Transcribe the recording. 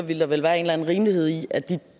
vil der vel være en eller anden rimelighed i at de